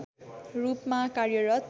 रूपमा कार्यरत